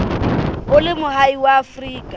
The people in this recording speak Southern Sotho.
o le moahi wa afrika